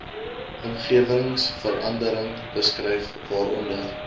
omgewingsverandering beskryf waaronder